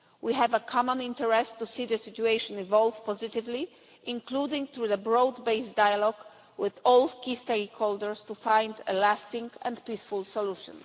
We have a common interest to see the situation evolve positively, including through broad based dialogue with all key stakeholders to find a lasting and peaceful solution.